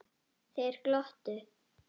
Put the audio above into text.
Þeir glottu.